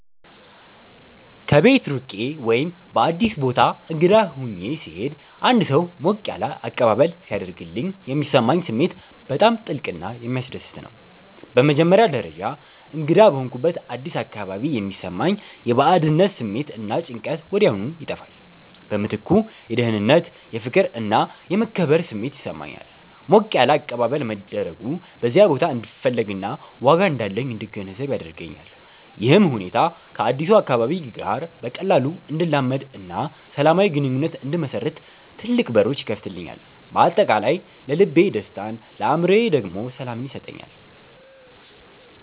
ከቤት ርቄ ወይም በአዲስ ቦታ እንግዳ ሆኜ ስሄድ አንድ ሰው ሞቅ ያለ አቀባበል ሲያደርግልኝ የሚሰማኝ ስሜት በጣም ጥልቅና የሚያስደስት ነው። በመጀመሪያ ደረጃ፣ እንግዳ በሆንኩበት አዲስ አካባቢ የሚሰማኝ የባዕድነት ስሜት እና ጭንቀት ወዲያውኑ ይጠፋል። በምትኩ የደህንነት፣ የፍቅር እና የመከበር ስሜት ይሰማኛል። ሞቅ ያለ አቀባበል መደረጉ በዚያ ቦታ እንድፈለግና ዋጋ እንዳለኝ እንድገነዘብ ያደርገኛል። ይህም ሁኔታ ከአዲሱ አካባቢ ጋር በቀላሉ እንድላመድና ሰላማዊ ግንኙነት እንድመሰርት ትልቅ በሮች ይከፍትልኛል። በአጠቃላይ ለልቤ ደስታን ለአእምሮዬ ደግሞ ሰላምን ይሰጠኛል።